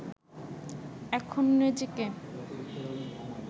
এখনও নিজেকে